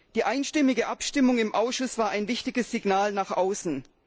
Die einstimmige Abstimmung im Ausschuss war ein wichtiges Signal nach außen.